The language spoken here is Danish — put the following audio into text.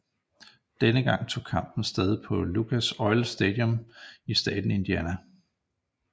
Denne gang tog kampen sted på Lucas Oil Stadium i staten Indiana